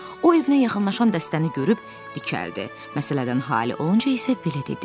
o evinə yaxınlaşan dəstəni görüb dikəldi, məsələdən halı olunca isə belə dedi.